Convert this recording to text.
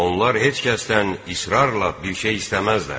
Onlar heç kəsdən israrla bir şey istəməzlər.